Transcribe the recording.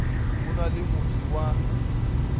go na le motse wa